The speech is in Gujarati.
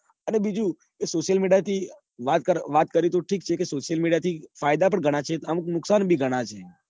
અને બીજું કે social media થી વાત કરવી તો ઠીક છે. ફાયદા પણ ઘણાં છે. નુકસાન પણ ઘનના છે.